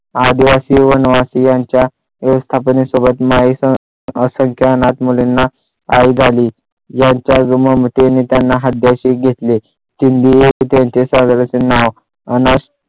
आदिवासी वनवासी यांच्या व्यवस्थापनेसोबत माईंचा सगळ्या अनाथ मुलींना आई झाली यांच्या ममतेने त्यांना हृदयाशी घेतले कि मी एक त्यांचे नाव अनाथ